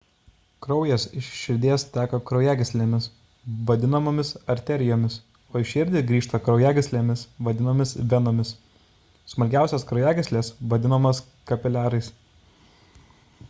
kraujas iš širdies teka kraujagyslėmis vadinamomis arterijomis o į širdį grįžta kraujagyslėmis vadinamomis venomis smulkiausios kraujagyslės vadinamos kapiliarais